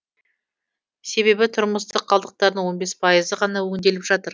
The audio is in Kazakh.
себебі тұрмыстық қалдықтардың он бес пайызы ғана өңделіп жатыр